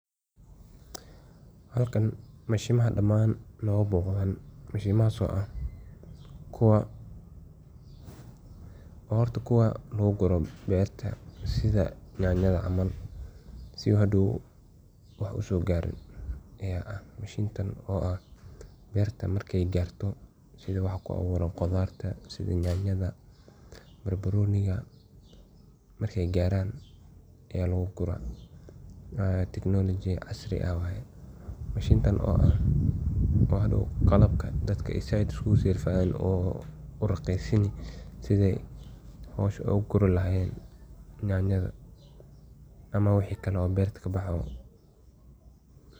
Beerta otomaatigga ah waxay ka kooban tahay nidaamyo ah oo ismaasha oo ka kooban robotyo beeraya, duullimaadyo dib u eegis oo drone-ka loo isticmaalo, iyo firfircoon oo baaritaaya cimilooyinka, dhulka, iyo biyaha si ay u xakameeyaan wax kasta oo lagama maarmaanka u ah beeraha iyadoon la isticmaalin shaqaale badan, taas oo keenta in beeruhu yeeshaan wax soo saar sare oo aan la mid ahayn iyo dhaqaale fiican iyadoo la adeegsado khayraadka si habsami leh, sidaas darteed beertoydu waxay noqon kaan mid aad u hufan oo ka shaqeeya goobaha qalloocan iyo kuwa aan qalloocin, waxayna siin kartaa fursad weyn in la kordhiyo wax soo saarka cuntada adduunka oo dhan iyadoo la ilaalinayo deegaanka iyada oo la yaba inay tahay.